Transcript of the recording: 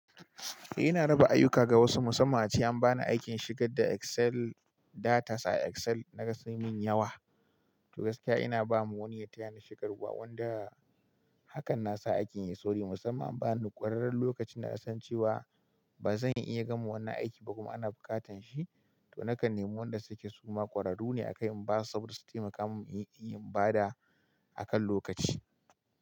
Eh ina raba ayyuka ga wasu musamman a ce an ba ni aikin shigar da Excel datas a Excel naga sun min yawa. To gaskiya ina ba ma wani ya taya ni shigarwa wanda hakan na sa aikin ya sauri musamman in ba nida ƙwararren lokacin da nasan cewa ba zan iya gama wannan aikin ba kuma ana buƙatan shi. To nakan nemo wanda suke suma kwararru ne a kai in ba su saboda su taimaka mun inyi in bada a kan lokaci.